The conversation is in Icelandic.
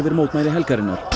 mótmæli helgarinnar